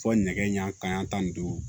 Fɔ nɛgɛ ɲɛ kelen yan tan ni duuru